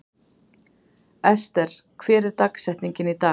Ester, hver er dagsetningin í dag?